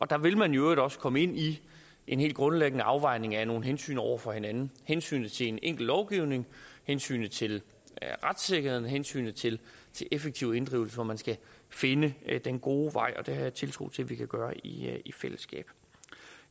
der vil man i øvrigt også komme ind i en helt grundlæggende afvejning af nogle hensyn over for hinanden hensynet til en enkel lovgivning hensynet til retssikkerheden hensynet til effektiv inddrivelse hvor man skal finde den gode vej og det har jeg tiltro til at vi kan gøre i i fællesskab